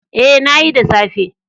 Ee, na yi, da safe.